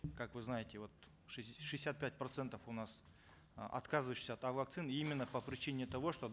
как вы знаете вот в шестьдесят пять процентов у нас э отказывающихся от вакцин именно по причине того что